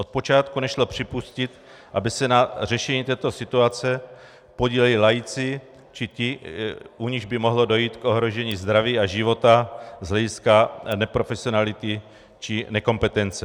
Od počátku nešlo připustit, aby se na řešení této situace podíleli laici či ti, u nichž by mohlo dojít k ohrožení zdraví a života z hlediska neprofesionality či nekompetence.